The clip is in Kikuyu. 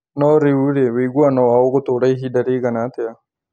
No rĩu rĩ wĩiguano wao ũgũtũra ihinda rĩigana atĩa.